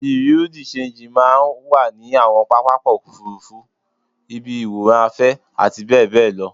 Bùréú dì ṣenjì máa ń wà ní àwọn pápákọ̀ òfuurufú, ibi ìwòran afẹ́ àti bẹ́ẹ̀ bẹ́ẹ̀ lọ